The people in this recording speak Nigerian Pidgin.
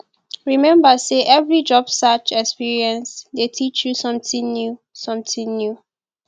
remember say every job search experience dey teach you something new something new